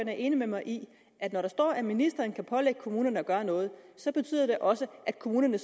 er enig med mig i at når der står at ministeren kan pålægge kommunerne at gøre noget så betyder det også at kommunerne